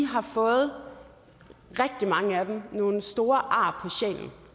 har fået nogle store ar